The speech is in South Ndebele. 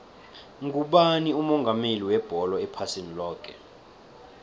ngubani umongameli webholo ephasini loke